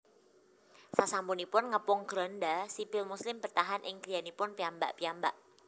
Sasampunipun ngepung Granda sipil muslim bertahan ing griyanipun piyambak piyambak